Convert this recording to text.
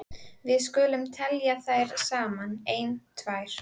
Við skulum telja þær saman: Ein. tvær.